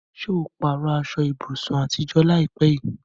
Ṣé o pààrọ̀ aṣọ ibùsùn àtijọ́ láìpẹ́ yìí?